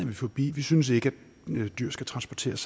vi forbi vi synes ikke at dyr skal transporteres